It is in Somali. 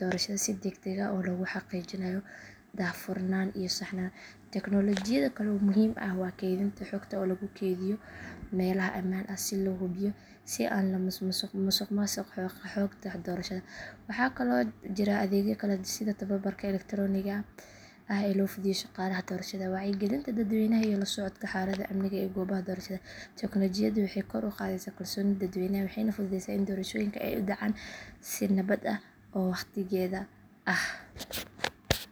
doorashada si degdeg ah oo lagu xaqiijinayo daahfurnaan iyo saxnaan. Teknoolojiyada kale oo muhiim ah waa kaydinta xogta oo lagu keydiyo meelaha ammaan ah si loo hubiyo in aan la musuqmaasuqin xogta doorashada. Waxaa kaloo jira adeegyo kale sida tababarka elektarooniga ah ee loo fidiyo shaqaalaha doorashada, wacyigelinta dadweynaha iyo la socodka xaaladda amniga ee goobaha doorashada. Teknoolojiyadani waxay kor u qaadday kalsoonida dadweynaha waxayna fududeysay in doorashooyinka ay u dhacaan si nabad ah oo waqtigeeda ah.